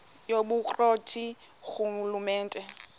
yobukro ti ngurhulumente